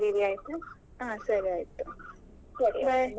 ಸರಿ ಹಾಗಾದ್ರೆ ಚೆನ್ನಾಗಿ ಬರೆ ಯಿರಿ ಆಯ್ತಾ.